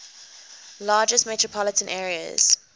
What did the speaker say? largest metropolitan areas